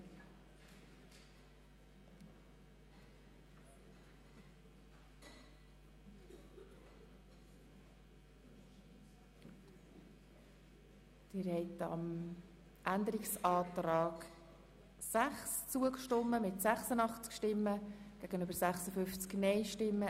Ziel ist nicht, die Beiträge zu kürzen, sondern optimal einzusetzen zur Erfüllung einer qualitativ guten Versorgung und für gute Arbeitsbedingungen.